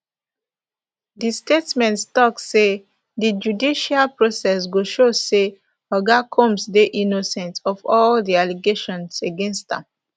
di statement tok say di judicial process go show say oga combs dey innocent of all di allegations against am